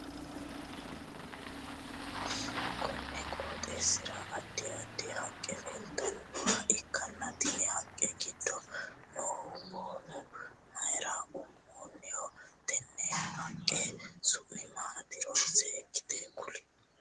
Konni qooxeesira addi addi haqe leeltanoha ikanna tenne haqa gido noohu boonu mayira umoonniho? Tenne haqe su'mi maatiro seekite kuuli